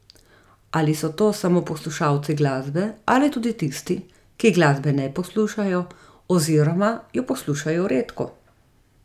Ali so to samo poslušalci glasbe ali tudi tisti, ki glasbe ne poslušajo oziroma jo poslušajo redko?